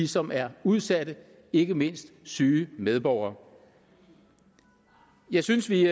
som er udsat ikke mindst syge medborgere jeg synes vi